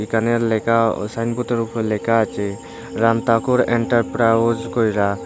এখানের লেখা ও সাইনবোতের উপর লেখা আচে রামতাকুর এন্টারপ্রাউজ কইরা।